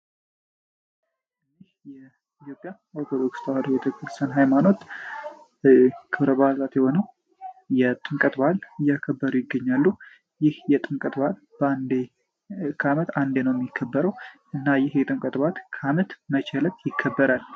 የኢትዮጵያ ኦርቶዶክስ ተዋህዶ ቤተ ክርስቲያን ሀይማኖት በአል የሆነው የጥምቀት በዓልን እያከበሩ ይገኛሉ ይህ የጥምቀት በዓል በዓመት አንዴ ነው የሚከበረው እና ይህ በዓል በአመት መቼ ይከበራል?